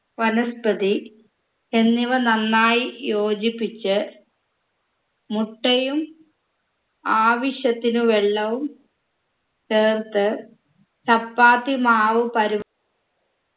വനസ്പതി എന്നിവ നന്നായി യോജിപ്പിച്ച് മുട്ടയും ആവശ്യത്തിന് വെള്ളവും ചേർത്ത് ചപ്പാത്തി മാവ് പരു